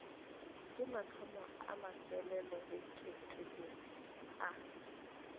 ke mathomo a mafelelobeketelele a